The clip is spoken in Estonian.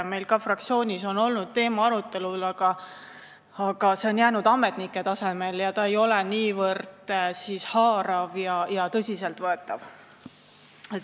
Meil fraktsioonis on ka selle teema arutelu olnud, aga see on jäänud ametnike tasemele ja ei ole niivõrd haarav ega tõsiselt võetav olnud.